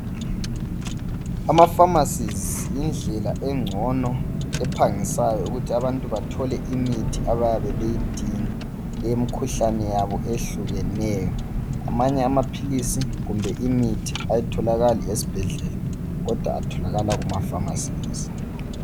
Amafamasi yindlela engcono ephangisayo ukuthi abantu bathole imithi abayabe beyidinga eyemikhuhlane yabo eyehlukeneyo amanye amaphilisi kumbe imithi ayitholakali esibhedlela kodwa atholakala kumafamasi.